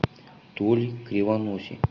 толе кривоносе